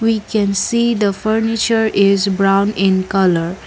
we can see the furniture is brown in colour.